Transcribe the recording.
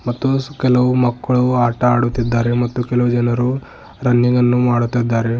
ಮತ್ತು ಕೆಲವು ಮಕ್ಕಳು ಆಟ ಆಡುತ್ತಿದ್ದಾರೆ ಮತ್ತು ಕೆಲವು ಜನರು ರನ್ನಿಂಗ್ ಅನ್ನು ಮಾಡುತ್ತಿದ್ದಾರೆ.